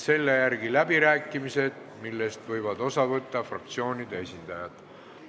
Selle järel on läbirääkimised, millest võivad osa võtta fraktsioonide esindajad.